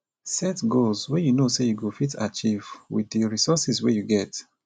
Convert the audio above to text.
set goals wey you know sey you go fit achieve with di resources wey you get